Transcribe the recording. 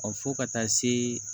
Ɔ fo ka taa se